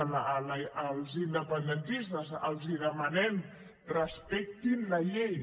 als independentistes els demanem respectin la llei